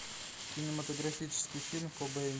кинематографический фильм кобейн